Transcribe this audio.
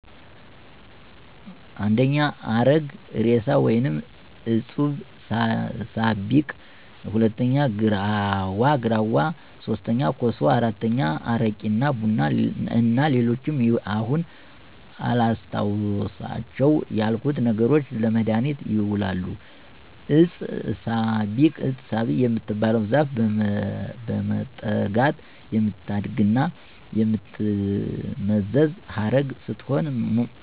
1. አረግ እሬሳ ወይም ዕጸ ሳቤቅ፣ 2. ግራዋ፣ 3. ኮሶ፣ 4. አረቂ እና ቡና እና ሌሎችም አሁን አላስታውሳቸው ያልኩት ነገሮች ለመድሀኒትነት ይውላሉ። ዕጸ ሳቤቅ የምትባለው ዛፍ በመጠጋት የምታድግና የምትመዘዝ ዐረግ ስትሆን